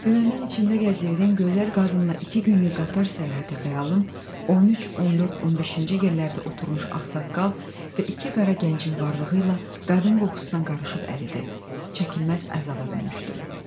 Dünəndən içimdə gəzirdiyim gözəl qadınla iki günlük qatar səyahəti xəyalım 13-14-15-ci yerlərdə oturmuş ağsaqqal və iki qara gəncin varlığı ilə qadın qoxusuna qarışıb əridi, çəkilməz əzaba dönüşdü.